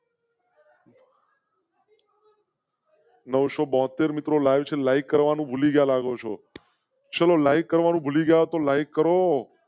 નવસો બોતેર મિત્રો લાવશે લાઇક કરવા નું ભૂલી ગયા લાગો છો લાઇક કરવા નું ભૂલી ગયા તો લાઈક કરો.